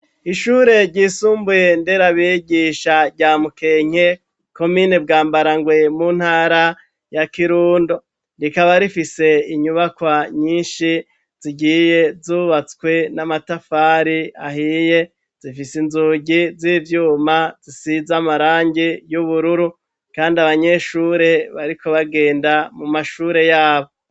Ishure ryisumbuye nder'abigisha rya mukenke, komine bwambarangwe muntara ya kirundo, rikaba rifise Inyubakwa nyinshi, zigiye zubatswe n'amatafari ahiye, rikaba rifise inzugi n'ivyuma zisize amarangi y'ubururu, kandi abanyeshure bariko bagenda mu mashure yabo.